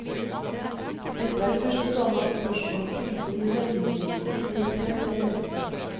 Dette er første gang at spørsmål om tilsyn ved hjemmeundervisning blir prøvd i en rettssak.